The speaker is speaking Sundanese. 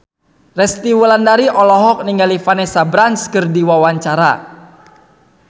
Resty Wulandari olohok ningali Vanessa Branch keur diwawancara